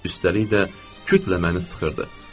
Üstəlik də kütlə məni sıxırdı.